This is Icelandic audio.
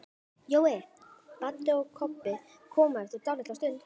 Jói, Baddi og Kobbi komu eftir dálitla stund.